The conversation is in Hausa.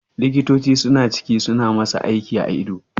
Likitoci suna ciki suna masa aiki a ido